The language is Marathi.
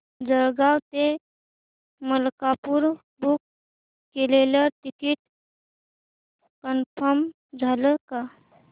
जळगाव ते मलकापुर बुक केलेलं टिकिट कन्फर्म झालं का